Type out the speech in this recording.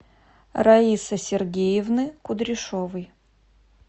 раисы сергеевны кудряшовой